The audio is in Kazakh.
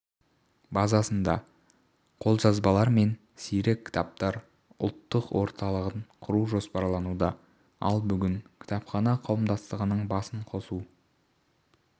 базасында қолжазбалар мен сирек кітаптар ұлттық орталығын құру жоспарлануда ал бүкіл кітапхана қауымдастығының басын қосу